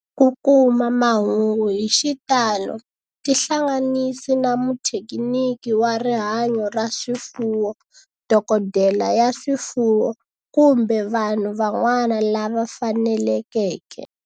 Ku kuma mahungu hi xitalo tihlanganisi na muthekiniki wa rihanyo ra swifuwo, dokodela ya swifuwo, kumbe vanhu van'wana lava fanelekeke